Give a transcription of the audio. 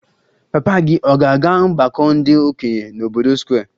Papa gị ọ̀ ga-aga ọgbako ndi okenye n'obodo Square?